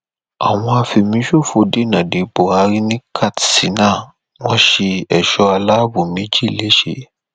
àwọn afẹmíṣòfò dènà dé buhari ní katsina wọn ṣe ẹṣọ aláàbọ méjì lẹsẹ